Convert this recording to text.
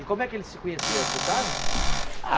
E como é que eles se conheceram, você sabe?